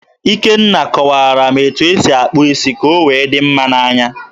Ikenna kọwaara m etu o si akpụ isi ka o wee dị mma n'anya.